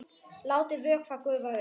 Látið vökva gufa upp.